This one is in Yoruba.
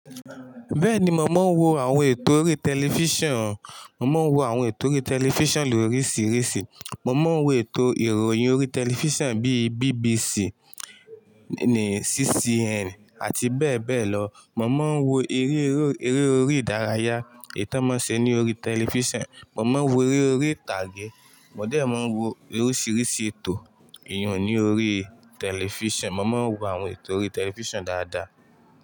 Bẹ́ẹ̀ni, mo máa ń wo àwọn ètò orí tẹlifíṣàn. Mo máa ń wo àwọn ètò orí tẹlifíṣàn lóríṣiríṣi. Mo máa ń wo ètò ìròyìn orí tẹlifíṣàn bíi BBC, CCN àti bẹ́ẹ̀ bẹ́ẹ̀ lọ. Mo máa ń wo eré o, ere orí ìdárayá, eyii ton mọ n ṣẹ ni orí tẹlifíṣàn. Mo máa ń wo eré orí ìtàgé. Mo dẹ̀ máa ń wo oríṣiríṣi ètò eeyàn ni orí tẹlifíṣàn. Mo máa ń wo àwọn ètò orí tẹlifíṣàn dáadáa.